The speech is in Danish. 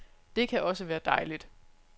Det kan også være dejligt.